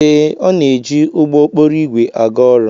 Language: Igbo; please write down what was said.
Ee, ọ na-eji ụgbọ okporo ígwè aga ọrụ.